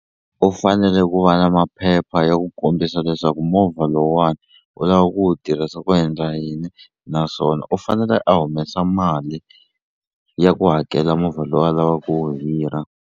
U fanele ku va na maphepha ya ku kombisa leswaku movha lowuwani u lava ku wu tirhisa ku endla yini naswona u fanele a humesa mali ya ku hakela movha lowu a lava ku wu hira.